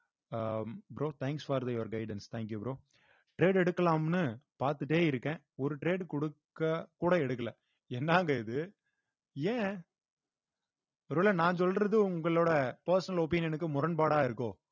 ah bro thanks for your guidance thank you bro trade எடுக்கலாம்ன்னு பார்த்துட்டே இருக்கேன் ஒரு trade கொடுக்க கூட எடுக்கலை என்னாங்க இது ஏன் ஒருவேளை நான் சொல்றது உங்களோட personal opinion க்கு முரன்பாடா இருக்கோ